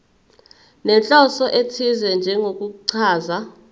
nenhloso ethize njengokuchaza